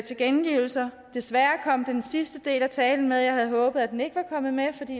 tilkendegivelser desværre kom den sidste del af talen med jeg havde håbet at den ikke var kommet med